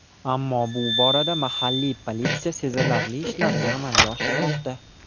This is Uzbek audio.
Ammo bu borada mahalliy politsiya sezilarli ishlarni amalga oshirmoqda.